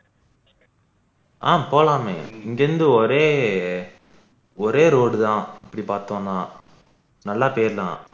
ஆஹ் போலாமே இங்க இருந்து ஒரே ஒரே road தான் அப்படி பார்த்தோம்னா நல்லா போயிடுலாம்